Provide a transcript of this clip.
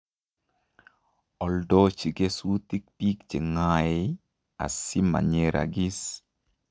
Oldoji kesutik biik che ng'aei asi manyeragis